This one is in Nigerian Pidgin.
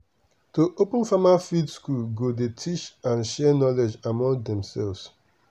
to open farmer field school go dey teach and share knowledge among dem self.